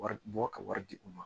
Wari bɔ ka wari di u ma